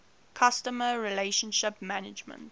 customer relationship management